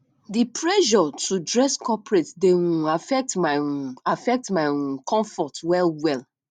di pressure to dress corporate dey um affect my um affect my um comfort well well